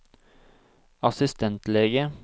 assistentlege